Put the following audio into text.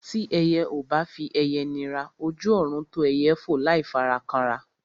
Tí ẹyẹ ò bá fi ẹyẹ nira, ojú ọ̀run tó ẹyẹ fò láì fara kanra.